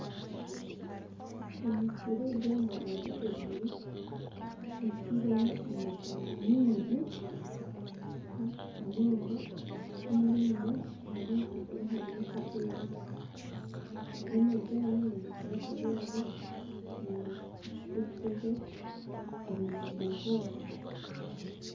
Emisiri egi eri omu mwanya oguteriire ebyirwemu amajani mingi munonga kandi hariyo akashozi. aga majani nigakira kubyarwa omu disiturikiti za burugwa izooba